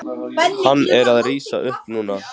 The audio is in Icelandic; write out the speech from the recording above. Hann er að rísa upp núna.